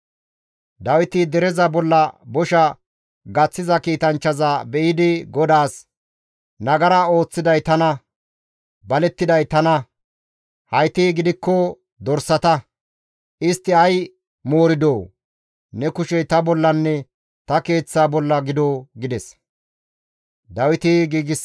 Dawiti dereza bolla bosha gaththiza kiitanchchaza be7idi GODAAS, «Nagara ooththiday tana, balettiday tana; hayti gidikko dorsata; istti ay mooridoo? Ne kushey ta bollanne ta keeththa bolla gido» gides.